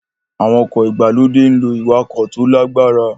Àwọn ọkọ̀ ìgbàlódé ń lo ìwakò tó lágbára